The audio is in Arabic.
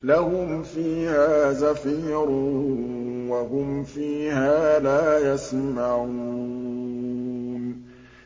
لَهُمْ فِيهَا زَفِيرٌ وَهُمْ فِيهَا لَا يَسْمَعُونَ